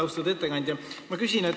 Austatud ettekandja!